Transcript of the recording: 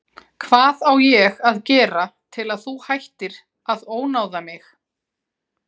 Hvað á ég að gera til að þú hættir að ónáða mig?